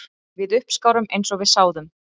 Við uppskárum eins og við sáðum